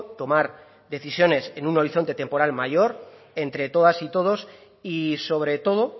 tomar decisiones en un horizonte temporal mayor entre todas y todos y sobre todo